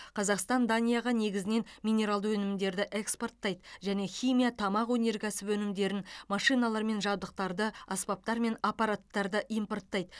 қазақстан данияға негізінен минералды өнімдерді экспорттайды және химия тамақ өнеркәсібі өнімдерін машиналар мен жабдықтарды аспаптар мен аппараттарды импорттайды